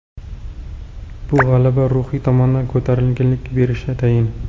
Bu g‘alaba ruhiy tomondan ko‘tarinkilik berishi tayin.